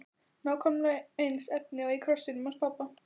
Nákvæmlega eins efni og í krossinum hans pabba!